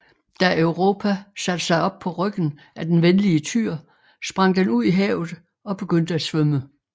Da Europa satte sig op på ryggen af den venlige tyr sprang den ud i havet og begyndte at svømme